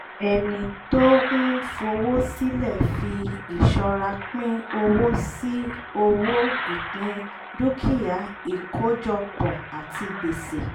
ẹni tó ń fowó sílẹ̀ fi ìṣọ́ra pín owó sí owó ìpín dúkìá ìkójọpọ̀ àti gbèsè